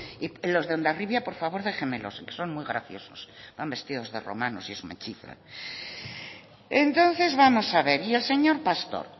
los de hondarribia por favor déjemelos que son muy graciosos van vestidos de romanos y eso me chifla entonces vamos a ver y el señor pastor